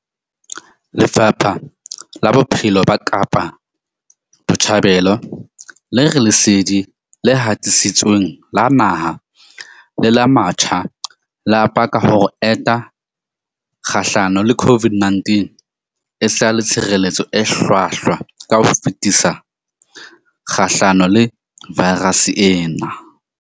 Lefapha la Bophelo la Kapa Botjhabela le re lesedi le hatisitsweng la naha le la matjhaba le a paka hore ho enta kgahlano le COVID-19 e sa le tshireletso e hlwahlwa ka ho fetisisa kgahlano le vaerase ena.